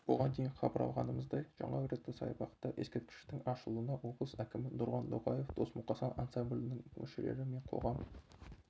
бұған дейін хабарлағанымыздай жаңа ретро-саябақта ескерткіштің ашылуына облыс әкімі нұрлан ноғаев дос-мұқасан ансаблінің мүшелері мен қоғам